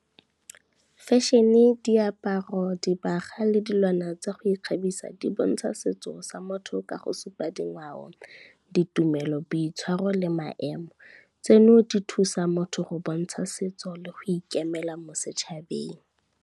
Fashion-e, diaparo, dibaga le dilwana tsa go ikgabisa di bontsha setso sa motho ka go supa dingwao, ditumelo, boitshwaro le maemo, tseno di thusa motho go bontsha setso le go ikemela mo setšhabeng.